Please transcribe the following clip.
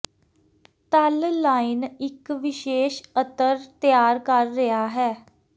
ਤਲ ਲਾਈਨ ਇੱਕ ਵਿਸ਼ੇਸ਼ ਅਤਰ ਤਿਆਰ ਕਰ ਰਿਹਾ ਹੈ